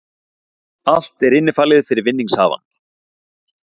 Allt er innifalið fyrir vinningshafana